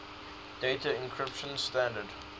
data encryption standard